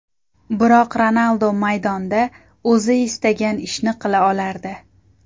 Biroq Ronaldo maydonda o‘zi istagan ishni qila olardi.